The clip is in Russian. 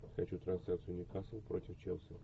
хочу трансляцию ньюкасл против челси